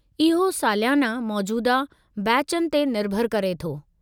इहो सालियाना मौजूदह बैचनि ते निर्भरु करे थो।